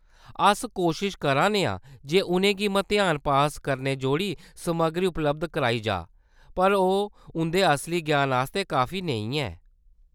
अस कोशश करा करने आं जे उʼनें गी मतेहान पास करने जोगड़ी समग्गरी उपलब्ध कराई जाऽ, पर ओह्‌‌ उंʼदे असली ज्ञान आस्तै काफी नेईं ऐ।